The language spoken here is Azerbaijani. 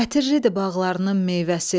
Ətirlidir bağlarının meyvəsi.